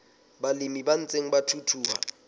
balemi ba ntseng ba thuthuha